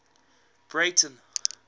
breyten